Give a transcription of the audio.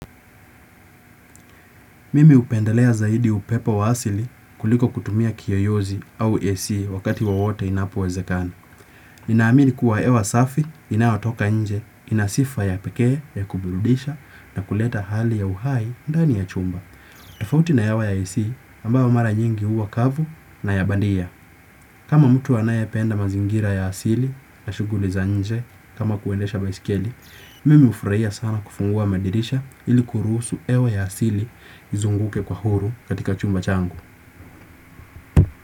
Mimi hupendelea zaidi upepo wa asili kuliko kutumia kiyoyozi au A.C wakati wowote inapowezekana. Ninaamini kuwa hewa safi inayotoka nje, ina sifa ya pekee ya kuburudisha na kuleta hali ya uhai ndani ya chumba. Tofauti na hewa ya AC ambayo mara nyingi huwa kavu na ya bandia. Kama mtu anayependa mazingira ya asili na shughuli za nje kama kuendesha baisikeli, mimi hufurahia sana kufungua madirisha ili kurusu hewa ya asili izunguke kwa huru katika chumba changu.